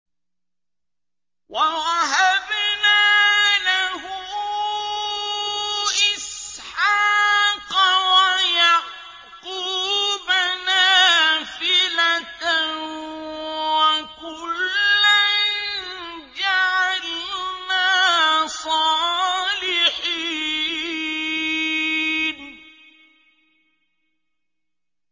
وَوَهَبْنَا لَهُ إِسْحَاقَ وَيَعْقُوبَ نَافِلَةً ۖ وَكُلًّا جَعَلْنَا صَالِحِينَ